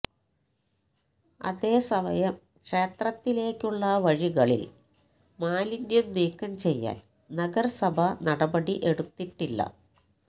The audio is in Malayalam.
അതേ സമയം ക്ഷേത്രത്തിലേക്കുള്ള വഴികളില് മാലിന്യം നീക്കം ചെയ്യാന് നഗരസഭ നടപടി എടുത്തിട്ടില്ല